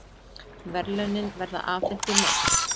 Verðlaunin verða afhent í mars